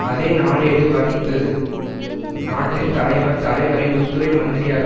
அதே நாளேடு வர்ணித்தது நாட்டின் தலைவர் தலைவரை உள்துறை மந்திரியாக